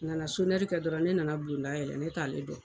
A nana kɛ dɔrɔn ne nana bulonda yɛlɛ ne t'ale dɔn